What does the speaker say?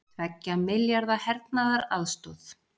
Tveggja milljarða hernaðaraðstoð